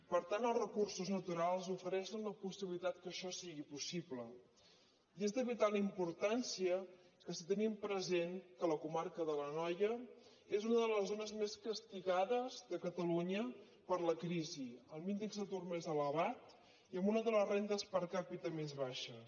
per tant els recursos naturals ofereixen la possibilitat que això sigui possible i és de vital importància si tenim present que la comarca de l’anoia és una de les zones més castigades de catalunya per la crisi amb l’índex d’atur més elevat i amb una de les rendes per capita més baixes